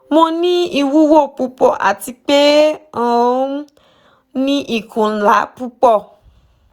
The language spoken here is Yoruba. mo ni iwuwo pupọ ati pe o um ni ikun nla pupọ